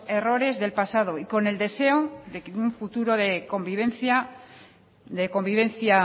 errores del pasado y con el deseo de que en un futuro de convivencia